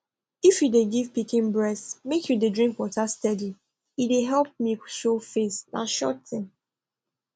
if you dey give pikin breast make u dey drink water steady e dey help milk show face na sure thing